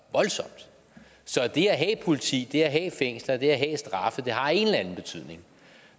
det at have et politi det at have fængsler det at have straffe har en eller anden betydning